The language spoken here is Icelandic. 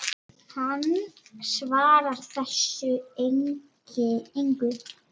Hann svarar þessu engu.